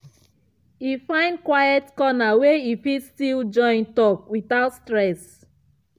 e find quiet corner wey e fit still join talk without stress.